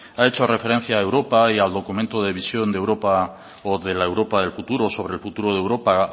ha hecho referencia a europa y al documento de visión de europa o de la europa del futuro sobre el futuro de europa